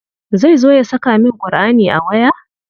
Zai zo ya saka min Ƙurʼani a waya?